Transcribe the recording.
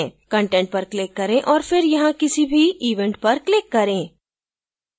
content पर click करें और फिर यहाँ किसी भी event पर click करें